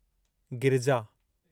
Girija